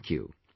Thank You